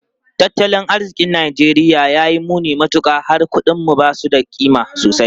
Tattalin arzikin Najeriya ya yi muni matuka, har kudinmu ba su da kima sosai.